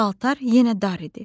Paltar yenə dar idi.